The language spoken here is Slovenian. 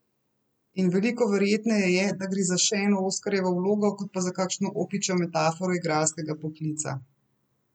In veliko verjetneje je, da gre za še eno Oskarjevo vlogo kot pa za kakšno opičjo metaforo igralskega poklica.